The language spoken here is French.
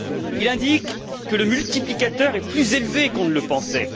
Il indique que le multiplicateur est plus élevé qu'on ne le pensait.